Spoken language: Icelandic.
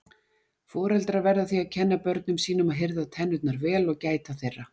Foreldrar verða því að kenna börnum sínum að hirða tennurnar vel og gæta þeirra.